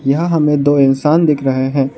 यहां हमें दो इंसान दिख रहे हैं।